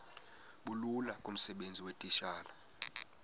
bulula kumsebenzi weetitshala